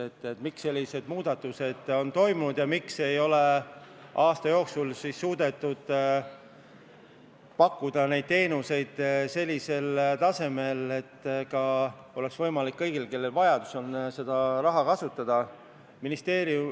Räägiti, miks sellised muudatused on toimunud ja miks ei ole aasta jooksul suudetud pakkuda neid teenuseid sellisel tasemel, et oleks võimalik kõigil, kellel on vajadus, seda raha kasutada.